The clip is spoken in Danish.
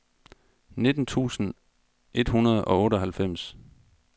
nitten tusind et hundrede og otteoghalvfems